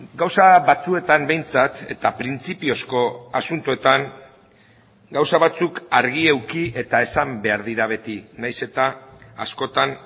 gauza batzuetan behintzat eta printzipiozko asuntoetan gauza batzuk argi eduki eta esan behar dira beti nahiz eta askotan